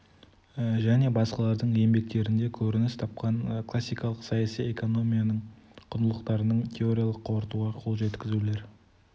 және басқалардың еңбектерінде көрініс тапқан классикалық саяси экономияның құндылықтарын теориялық қорытуға қол жеткізулер